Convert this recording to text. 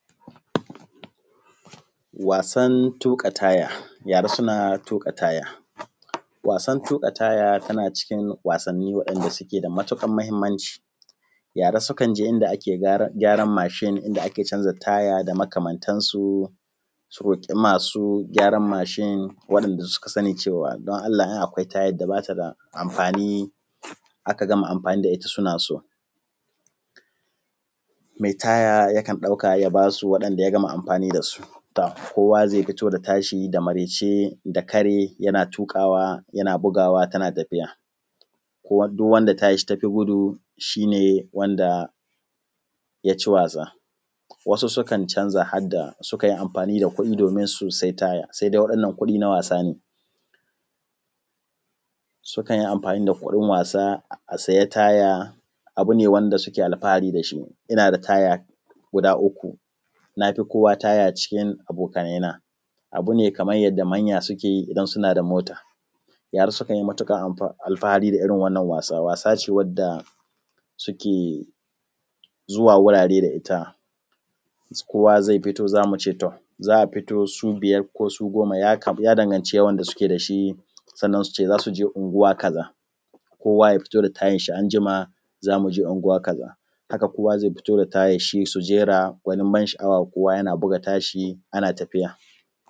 Wasan tuƙa taya, yara suna tuƙa taya. Wasan tuƙa taya tana cikin wasani wanda suke da matuƙar mahimmanci. Yara sukan je inda ake gyaran mashin inda ake gyara taya da makamantasu su roƙi masu gyaran mashin waɗanda suka sani cewa don Allah in akwai tayar da bata da amfani aka gama amfani da ita suna so. Mai taya yakan dauka ya basu waɗanda ya gama amfani dasu, to kowa zai fito da tashi da maraice da kare yana tuƙawa yana bugawa tana tafiya, duk wacce tashi tafi gudu shi ne wanda ya ci wasa, wasu sukan canza har da sukan amfani da kuɗi su sai taya sai dai wa’innan kudi na wasa ne, sukan yi amfani da kudin wasa a sayı taya abu ne wanda suke alfahari dashi. Ina da taya guda uku, nafi kowa taya cikin abokaina abu ne kaman yadda manya suke yi idan suna da mota. Yara sukan yi matukar alfahari da irin wannan wasa, wasa ce wadda suke zuwa wurare da ita kowa zai fito zamu ce to, za a fito su biyar ko su goma ya dangancin yawan da suke dashi sannan su ce za su je anguwa kaza kowa ya fito da tayan shi anjima zamu je anguwa kaza, haka kowa zai fito da tayanshi su jera gunin ban sha’awa kowa yana buga tashi ana tafiya.